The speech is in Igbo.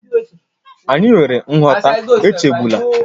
Anyị nwere nghọta, echegbula